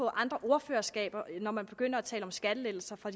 andre ordførerskaber når man begynder at tale om skattelettelser for